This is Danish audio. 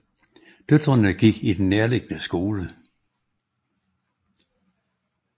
Døtrene gik i den nærliggende skole